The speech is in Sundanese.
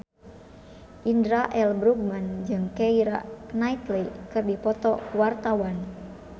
Indra L. Bruggman jeung Keira Knightley keur dipoto ku wartawan